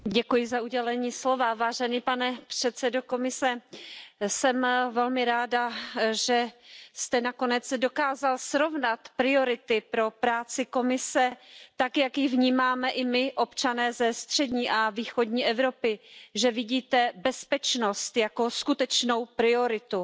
Paní předsedající, vážený pane předsedo Komise, jsem velmi ráda, že jste nakonec dokázal srovnat priority pro práci Komise tak, jak ji vnímáme i my, občané ze střední a východní Evropy, že vidíte bezpečnost jako skutečnou prioritu.